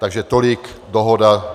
Takže tolik dohoda.